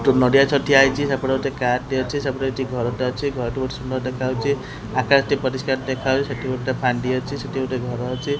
ଗୋଟେ ନଡ଼ିଆ ଗଛ ଠିଆ ହେଇଛି ସେପଟେ ଗୋଟେ କାର୍ ଟେ ଅଛି ସେପଟେ ଗୋଟେ ଘରଟେ ଅଛି ଘରଟି ବହୁତ୍ ସୁନ୍ଦର ଦେଖାଯାଉଛି ଆକାଶଟି ପରିଷ୍କାର ଦେଖାଯାଉଛି ସେଠି ଗୋଟେ ଭାଣ୍ଡି ଅଛି ସେଠି ଗୋଟେ ଘର ଅଛି।